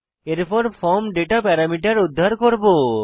এরপর form data parameter উদ্ধার করব